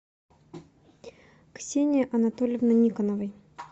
ксении анатольевны никоновой